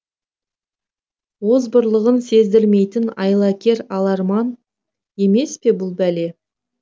озбырлығын сездірмейтін айлакер аларман емес пе бұл бәле